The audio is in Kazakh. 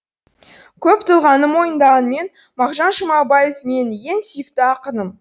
көп тұлғаны мойындағанмен мағжан жұмабаев менің ең сүйікті ақыным